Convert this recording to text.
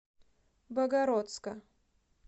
богородска